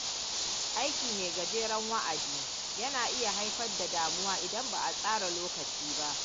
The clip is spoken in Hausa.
Aiki mai gajeren wa’adin, yana iya haifar da damuwa idan ba a tsara lokaci ba.